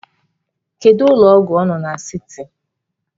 Kedu ụlọ ọgwụ ọ na siti?